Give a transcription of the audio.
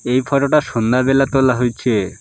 এই ফটোটা সন্ধ্যাবেলা তোলা হইছে।